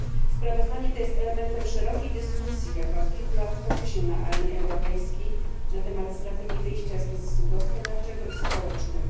Sprawozdanie to jest elementem szerokiej dyskusji, jaka od kilku lat toczy się na arenie europejskiej na temat strategii wyjścia z kryzysu gospodarczego i społecznego.